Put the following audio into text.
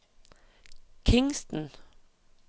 Kingston